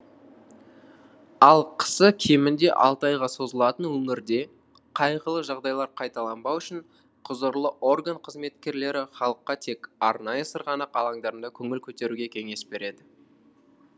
ал қысы кемінде алты айға созылатын өңірде қайғылы жағдайлар қайталанбау үшін құзырлы орган қызметкерлері халыққа тек арнайы сырғанақ алаңдарында көңіл көтеруге кеңес береді